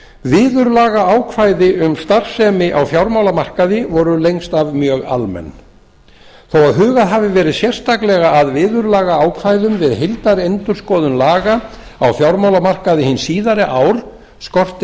viðurlagaákvæði um starfsemi á fjármálamarkaði voru lengst af mjög almenn þó að hugað hafi verið sérstaklega að viðurlagaákvæðum við heildarendurskoðun laga á fjármálamarkaði hin síðari ár skortir